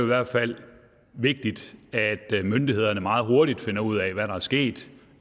hvert fald vigtigt at myndighederne meget hurtigt finder ud af hvad der er sket